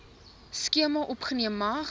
skema opgeneem mag